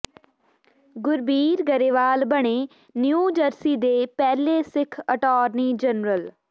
ਗੁਰਬੀਰ ਗਰੇਵਾਲ ਬਣੇ New Jersey ਦੇ ਪਹਿਲੇ ਸਿੱਖ ਅਟਾਰਨੀ ਜਨਰਲ